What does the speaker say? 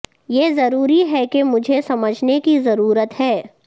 یہ ضروری ہے کہ مجھے سمجھنے کی ضرورت ہے